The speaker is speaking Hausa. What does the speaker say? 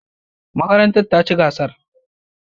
Makarantar ta ci gasar.